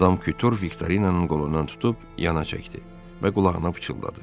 Madam Kutur Viktorinanın qolundan tutub yana çəkdi və qulağına pıçıldadı.